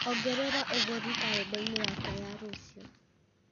ongerera ũgũri karenda-inĩ yakwa ya rũciũ